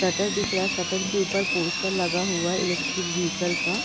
Shutter दिख रहा है शटर के ऊपर पोस्टर लगा हुआ है इलेक्ट्रिक व्हीकल का।